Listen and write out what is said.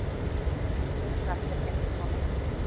Hann tekur af sér heyrnartólin.